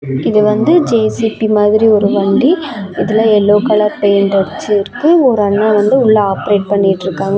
இது வந்து ஜே_சி_பி மாதிரி ஒரு வண்டி. இதுல எல்லோ கலர் பெயிண்ட் அடுச்சுருக்கு ஒரு அண்ணா வந்து உள்ள ஆப்ரேட் பண்ணிட்டுருக்காங்க.